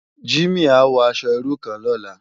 Jimi á wò aṣò irú kán lòlá